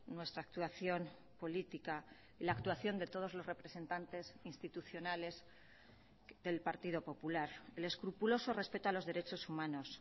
nuestra actuación política la actuación de todos los representantes institucionales del partido popular el escrupuloso respeto a los derechos humanos